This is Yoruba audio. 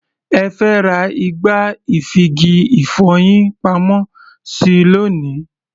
Ẹ fẹ́ ra igbá-ìfigi-ìfọyín-pamọ́-sí lónìí.